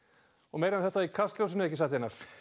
meira um þetta í Kastljósinu ekki satt